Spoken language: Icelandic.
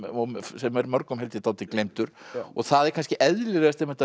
sem er mörgum held ég dálítið gleymdur það er kannski eðlilegast einmitt að